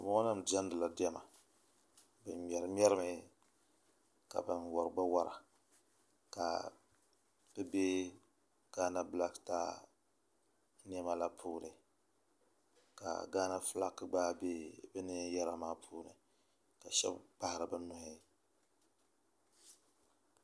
Bin boŋo nim diɛmdila diɛma bin ŋmɛri ŋmɛrimi ka bin wori gba wora ka bi bɛ gaana bilak staa niɛma la puuni ka gaana fulak gba bɛ bi neen yɛra maa puuni ka shab kpahari bi nuhi